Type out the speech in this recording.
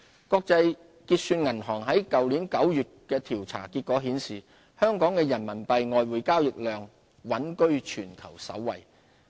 國際結算銀行去年9月公布的調查結果顯示，香港的人民幣外匯交易量穩居全球首位。